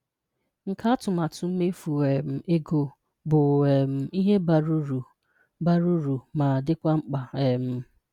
Nkà atụmatụ mmefu um egó bụ um ihe bara uru bara uru ma dịkwa mkpá. um